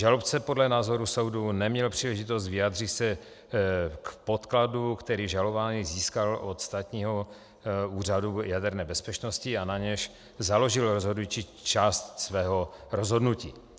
Žalobce podle názoru soudu neměl příležitost vyjádřit se k podkladu, který žalovaný získal od Státního úřadu jaderné bezpečnosti a na němž založil rozhodující část svého rozhodnutí.